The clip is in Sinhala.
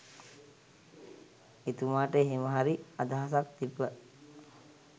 එතුමාට එහෙමහරි අදහසක් තිබ්බ.